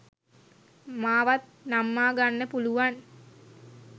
මාවත් නම්මාගන්න පුළුවන්